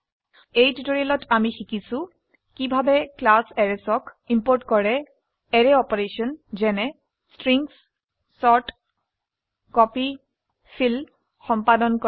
এই টিউটোৰিয়েলত আমি শিকিছো কিভাবে ক্লাছ Arraysক ইম্পোৰ্ট কৰে অ্যাৰে অপাৰেশন যেনে ষ্ট্ৰিংছ চৰ্ট কপি ফিল সম্পাদন কৰা